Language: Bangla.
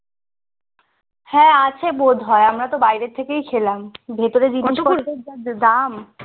হ্যাঁ আছে বোধায় আমরা তো বাইরে থেকে খেলাম ভেতরে যা দাম